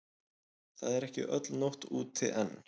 Það er ekki öll nótt úti enn.